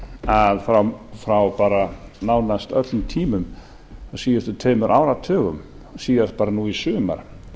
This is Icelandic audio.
að frá nánast öllum tímum á síðustu tveimur áratugum síðast bara nú í sumar